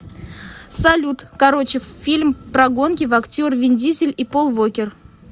салют короче фильм прогонки в актер вин дизель и пол вокер